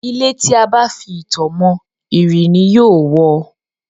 Ilé tí a bá fi itọ́ mọ, ìrì ni yóò wọ.